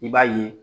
I b'a ye